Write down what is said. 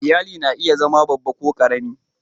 Iyali na iya zama babba ko ƙarami.